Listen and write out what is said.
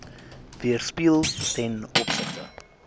weerspieël ten opsigte